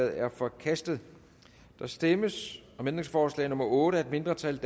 er forkastet der stemmes om ændringsforslag nummer otte af et mindretal